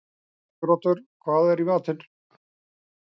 Siguroddur, hvað er í matinn?